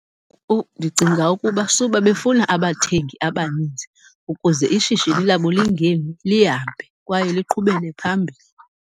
Ndicinga ukuba suba befuna abathengi abaninzi ukuze ishishini labo lingemi, lihambe kwaye liqhubele phambili.